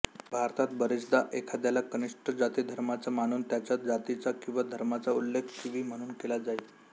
भारतात बरेचदा एखाद्याला कनिष्ठ जातिधर्माचा मानून त्याच्या जातीचा किंवा धर्माचा उल्लेख शिवी म्हणून केला जाई